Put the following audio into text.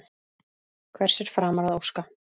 Hvers er framar að óska?